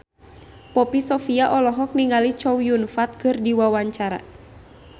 Poppy Sovia olohok ningali Chow Yun Fat keur diwawancara